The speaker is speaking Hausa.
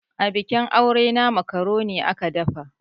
Abikin aure na makaroni aka dafa.